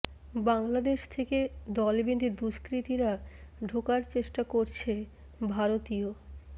বাংলাদেশ থেকে দল বেঁধে দুষ্কৃতীরা ঢোকার চেষ্টা করছে ভারতীয়